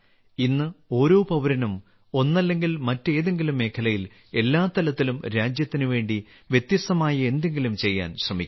ഇന്ന് ഓരോ പൌരനും ഒന്നല്ലെങ്കിൽ മറ്റേതെങ്കിലും മേഖലയിൽ എല്ലാ തലത്തിലും രാജ്യത്തിന് വേണ്ടി വ്യത്യസ്തമായ എന്തെങ്കിലും ചെയ്യാൻ ശ്രമിക്കുന്നു